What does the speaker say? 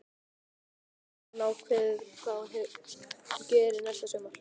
En hefur hún ákveðið hvað hún gerir næsta sumar?